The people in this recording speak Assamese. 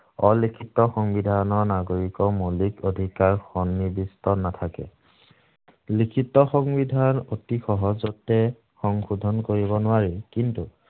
অলিখিত সংবিধানৰ নাগৰিকৰ মৌলিক অধিকাৰ সন্নিবিষ্ট নাথাকে। লিখিত সংবিধান অতি সহজতে সংশোধন কৰিব নোৱাৰি, কিন্তু,